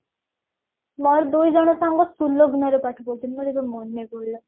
ମୋର ଦୁଇ ଜଣ ସାଙ୍ଗ ସୁଲଗ୍ନା ରେ ପାଠ ପଢୁଛନ୍ତି ମୋର ଏବେ ମାନେ ପଡିଲା